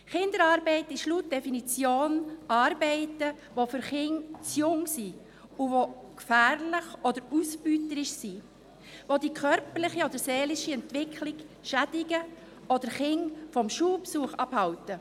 Kinderarbeit ist laut Definition Arbeit, für welche die Kinder zu jung sind, die gefährlich oder ausbeuterisch ist, welche die körperliche oder seelische Entwicklung schädigt oder Kinder vom Schulbesuch abhält.